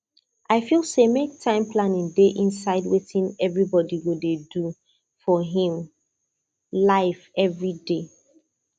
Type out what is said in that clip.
i feel say make time planning dey inside wetin everybody go dey do for him life every day